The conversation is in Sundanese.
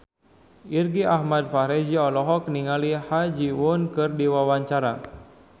Irgi Ahmad Fahrezi olohok ningali Ha Ji Won keur diwawancara